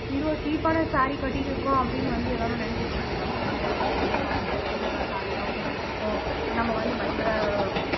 இவ்ளோ cheap ஆன saree கட்டிட்டு இருக்கோம் அப்படின்னு வந்து எல்லாரும் நினைக்கக் கூடாது நம்ம வந்து பயங்கர costly யான saree தான் போட்டுட்டு இருக்கோம் நம்ம வந்து பயங்கர